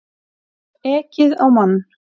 Ekið á mann